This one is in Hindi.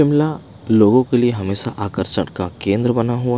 मला लोगों के लिए हमेशा आकर्षण का केंद्र बना हु--